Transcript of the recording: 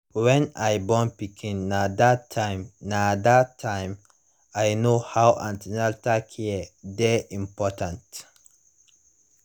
when i born pikin na that time na that time i know how an ten atal care dey important